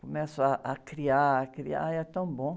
Começo ah, a criar, a criar, aí é tão bom.